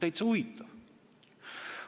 No täitsa huvitav!